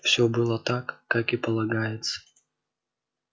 всё было так как и полагается